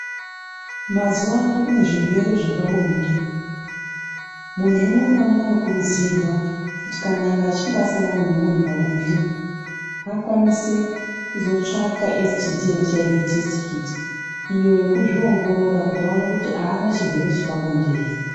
Mazuwa ano kune zvirwere zvepa bonde. Munhu umwe naumwe uno kurudzirwa kuti kana echinga asangana nemunhu pabonde, akwanise kuzotsvaka STD endi HIV tesiti khiti. Iyo yekuzviongorora kuti awone kuti aana chirwere chepabonde ere.